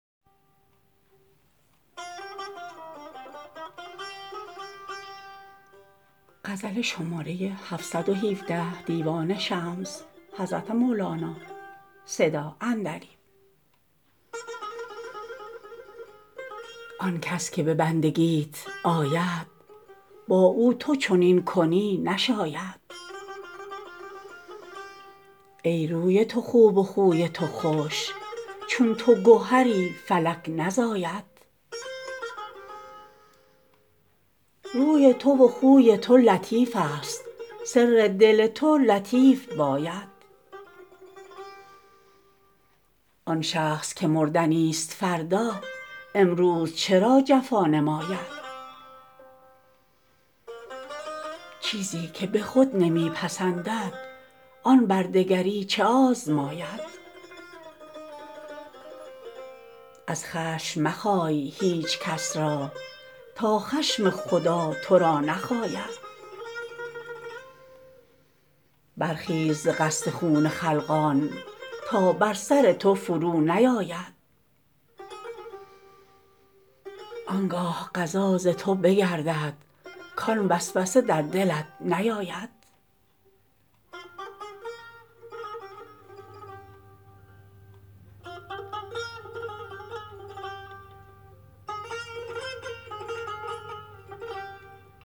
آن کس که به بندگیت آید با او تو چنین کنی نشاید ای روی تو خوب و خوی تو خوش چون تو گهری فلک نزاید روی تو و خوی تو لطیفست سر دل تو لطیف باید آن شخص که مردنیست فردا امروز چرا جفا نماید چیزی که به خود نمی پسندد آن بر دگری چه آزماید از خشم مخای هیچ کس را تا خشم خدا تو را نخاید برخیز ز قصد خون خلقان تا بر سر تو فرونیاید آن گاه قضا ز تو بگردد کان وسوسه در دلت نیاید ای گفته که مردم این چه مردیست کابلیس تو را چنین بگاید